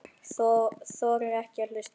Þorir ekki að hlusta lengur.